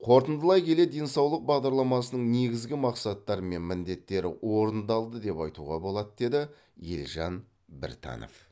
қорытындылай келе денсаулық бағдарламасының негізгі мақсаттары мен міндеттері орындалды деп айтуға болады деді елжан біртанов